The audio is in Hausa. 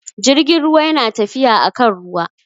Jirgin ruwa yana tafiya akan ruwa